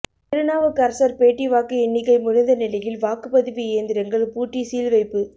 திருநாவுக்கரசர் பேட்டி வாக்கு எண்ணிக்கை முடிந்த நிலையில் வாக்குப்பதிவு இயந்திரங்கள் பூட்டி சீல்வைப்பு